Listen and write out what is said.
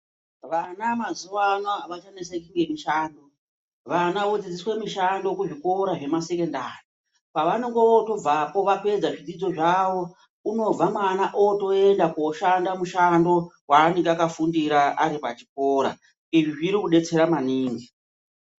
Vana mazuvano havachanetseki ngemushando. Vana vodzidziswa mishando kuzvikora zvemasekendari. Pavanenge votobvapo vapedza zvidzidzo zvavo, unobva mwana otoenda kundoshanda mushando waanenge akafundira ari pachikora. Izvi zviri kudetsera maningi.